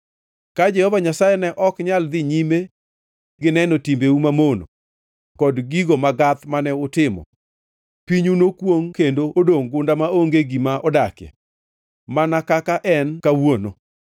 Ka Jehova Nyasaye ne ok nyal dhi nyime gineno timbeu mamono kod gigo magath mane utimo, pinyu nokwongʼ kendo odongʼ gunda maonge gima odakie, mana kaka en kawuono.